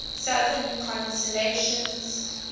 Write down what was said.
southern constellations